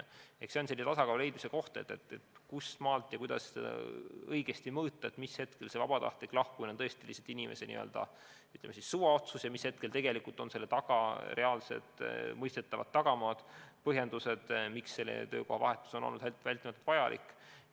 See on selline tasakaalu leidmise koht, kust maalt ja kuidas õigesti mõõta, mis juhul see vabatahtlik lahkumine on tõesti lihtsalt inimese täiesti vabatahtlik otsus ja mis juhul on selle taga reaalsed mõistetavad põhjused, miks töökohavahetus on vältimatult vajalik.